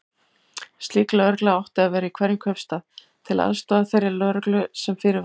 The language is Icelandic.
Slík lögregla átti að vera í hverjum kaupstað, til aðstoðar þeirri lögreglu sem fyrir var.